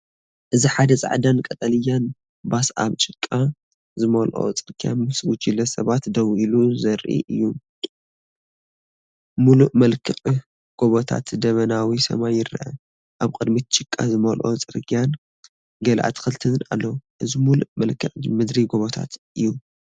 እዚ ሓደ ጻዕዳን ቀጠልያን ባስ ኣብ ጭቃ ዝመልኦ ጽርግያ ምስ ጉጅለ ሰባት ደው ኢሉ ዘርኢ እዩ። ምሉእ መልክዕ ጎቦታትነ ደበናዊ ሰማይን ይርአ። ኣብ ቅድሚት ጭቃ ዝመልኦ ጽርግያን ገለ ኣትክልትን ኣሎ። እዚ ምሉእ መልክዓ ምድሪ ጎቦታት እዩ።